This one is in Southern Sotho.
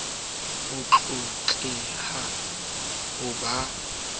hlompho ho tlotleha ho ba